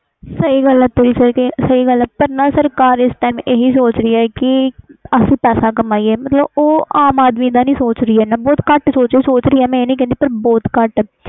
ਸਹੀ ਗੱਲ ਆ ਤੇਰੀ ਇਸ time ਸਰਕਾਰ ਸੋਚ ਰਹੀ ਅਸੀਂ ਪੈਸੇ ਕਮੀਏ ਮਤਬਲ ਉਹ ਆਮ ਆਦਮੀ ਦਾ ਨਹੀਂ ਸੋਚ ਰਹੀ ਸੋਚ ਰਹੀ ਆ ਪਰ ਘਟ ਸੋਚ ਰਹੀ ਆ